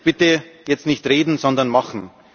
Bitte, jetzt nicht reden, sondern machen!